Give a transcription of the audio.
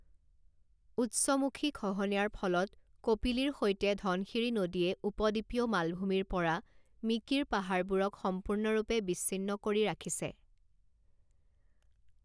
উৎসমুখী খহনীয়াৰ ফলত কপিলীৰ সৈতে ধনশিৰি নদীয়ে উপদ্বীপীয় মালভূমিৰ পৰা মিকিৰ পাহাৰবোৰক সম্পূৰ্ণৰূপে বিচ্ছিন্ন কৰি ৰাখিছে।